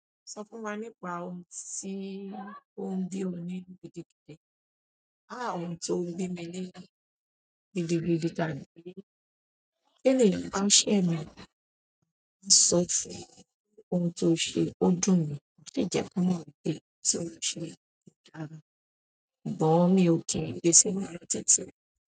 Sọ fún wa nípa ohun tí ó ń bi ọ nínú gidigidì. Àá òun to n bi mi nínú gidigidi tàbí tí ènìyàn ṣẹ mi o máa a ń sọ fún ohun tó ṣe ó dùn ma dẹ jẹ́ kan mọ wípé ohun tí ó ṣe ko dára. Bọ̀ mi o ki n gbe sínú lọ titi.